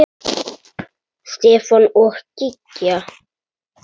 Mér líður vel hér.